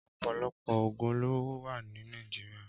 Ọpọlọpọ ógún ólóró wà ni Nàijiriá